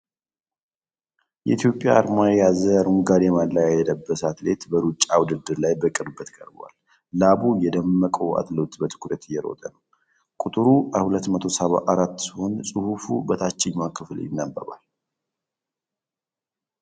የኢትዮጵያን አርማ የያዘ አረንጓዴ ማሊያ የለበሰ አትሌት በሩጫ ውድድር ላይ በቅርበት ቀርቧል። ላቡ የደመቀው አትሌቱ በትኩረት እየሮጠ ነው። ቁጥሩ 274 ሲሆን ጽሑፍ በታችኛው ክፍል ይነበባል።